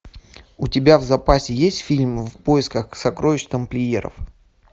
у тебя в запасе есть фильм в поисках сокровищ тамплиеров